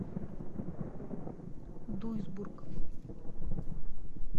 дуйсбург